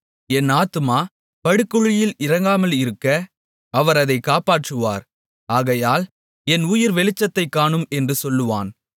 என் ஆத்துமா படுகுழியில் இறங்காமல் இருக்க அவர் அதை காப்பாற்றுவார் ஆகையால் என் உயிர் வெளிச்சத்தைக் காணும் என்று சொல்லுவான்